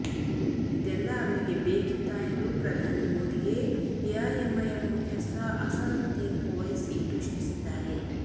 ಇದೆಲ್ಲ ಅವರಿಗೆ ಬೇಕಿತ್ತಾ ಎಂದು ಪ್ರಧಾನಿ ಮೋದಿಗೆ ಎಐಎಂಐಎಂ ಮುಖ್ಯಸ್ಥ ಅಸಾದುದ್ದೀನ್ ಓವೈಸಿ ಪ್ರಶ್ನಿಸಿದ್ದಾರೆ